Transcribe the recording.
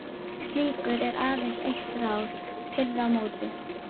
Við slíku er aðeins eitt ráð: pirra á móti.